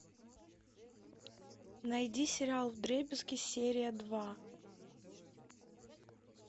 найди сериал вдребезги серия два